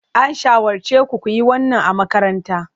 An shawarce ku ku yi wannan a makaranta.